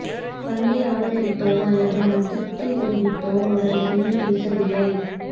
பந்த்தை ஆதரித்தோ அல்லது அதிருப்தி தெரிவித்தோ அவர் எதையும் பேசவில்லை